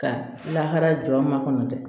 Ka lahala jɔ n ma kɔnɔ dɛ